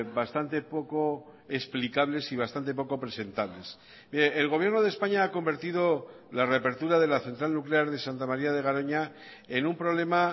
bastante poco explicables y bastante poco presentables mire el gobierno de españa ha convertido la reapertura de la central nuclear de santa maría de garoña en un problema